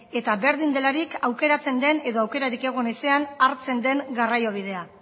eta berdin delarik aukeratzen den edo aukerarik egon ezean hartzen den garraio bidea